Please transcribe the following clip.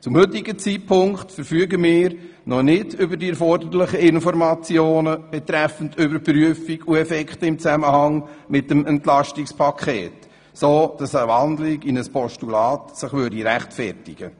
Zum heutigen Zeitpunkt verfügen die bezahlt, sondern wir noch nicht über die erforderlichen Informationen zu den Effekten des Entlastungspakets, um eine Wandlung in ein Postulat zu rechtfertigen.